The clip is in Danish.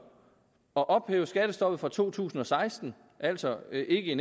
at ophæve skattestoppet fra to tusind og seksten altså ikke i